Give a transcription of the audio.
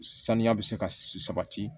Saniya bɛ se ka sabati